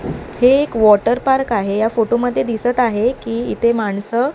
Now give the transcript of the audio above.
हे एक water park आहे या फोटोमध्ये दिसत आहे की इथे माणसं --